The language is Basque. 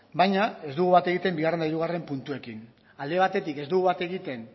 baina ez dugu bat egiten bigarren eta hirugarren puntuekin alde batetik ez dugu bat egiten